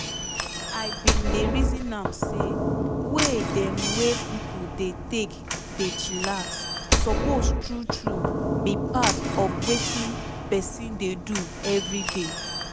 i bin dey reason am say way dem wey pipo take dey dey chillax suppose true true be part of wetin peson dey do everyday.